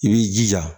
I b'i jija